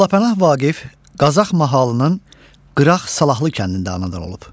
Molla Pənah Vaqif Qazax mahalının Qıraq Salahlı kəndində anadan olub.